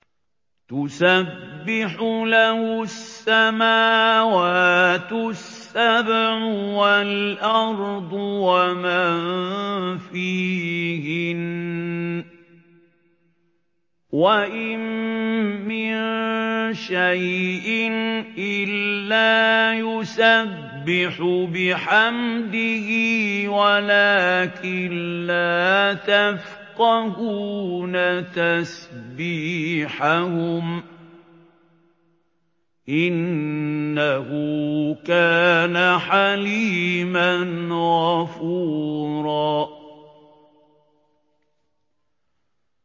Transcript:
تُسَبِّحُ لَهُ السَّمَاوَاتُ السَّبْعُ وَالْأَرْضُ وَمَن فِيهِنَّ ۚ وَإِن مِّن شَيْءٍ إِلَّا يُسَبِّحُ بِحَمْدِهِ وَلَٰكِن لَّا تَفْقَهُونَ تَسْبِيحَهُمْ ۗ إِنَّهُ كَانَ حَلِيمًا غَفُورًا